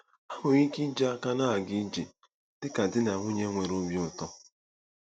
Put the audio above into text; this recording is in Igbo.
Ha nwere ike iji aka na-aga ije dị ka di na nwunye nwere obi ụtọ.